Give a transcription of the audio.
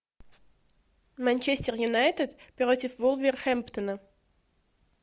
манчестер юнайтед против вулверхэмптона